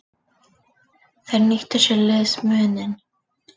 Þeir nýttu sér liðsmuninn.